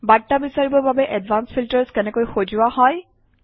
বাৰ্তা বিচাৰিবৰ বাবে এডভান্সড ফিল্টাৰ্ছ কেনেকৈ সজোৱা হয়